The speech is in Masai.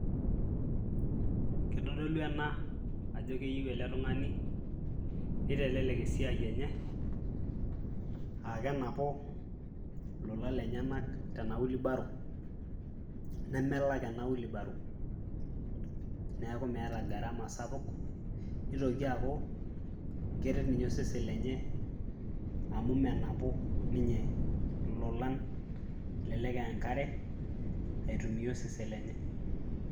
Kitodolu ena ajo keyeu ele tung'ani nitelelek esiai enye aake enapu lolan lenye tena wheelbarrow nemelak ena wheelbarrow neeku meeta gharama sapuk. Nitoki aaku keret ninye osesen lenye amu menapu ninye lolan elelek e enkare aitumia osesen lenye.